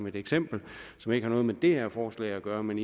et eksempel som ikke har noget med det her forslag at gøre men